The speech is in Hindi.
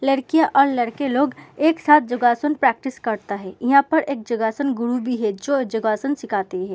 लड़कियाँ और लड़के लोग एक साथ जोगासन प्रैक्टिस करता है। इहा पर एक जोगासन गुरु भी है जो जोगासन सिखाती है।